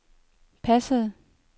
passende